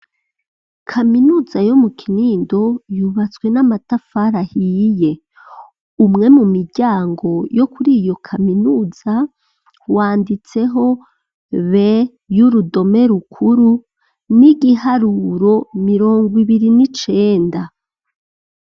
Kaminuza yo mu Kinindo yubatswe n'amatafari ahiye. Umwe mu miryango yo kuri iyo kaminuza wanditseho B y'urudome rukuru n'igiharuro mirongo ibiri n'icenda.